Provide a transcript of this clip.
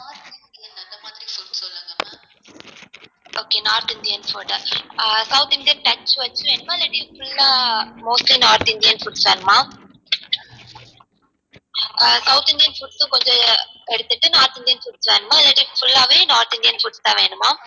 okay north indian food ஆ south Indian touch வச்சி வேணுமா இல்லாட்டி full ஆ mostly north indian foods ஆ வேணுமா south indian food கொஞ்சம் எடுத்துட்டு north indian food வேனுமா இல்லாட்டி full ஆவே north indian food தான் வேணுமா?